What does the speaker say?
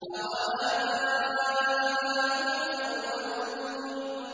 أَوَآبَاؤُنَا الْأَوَّلُونَ